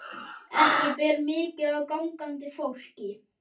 Ekki ber mikið á gangandi fólki.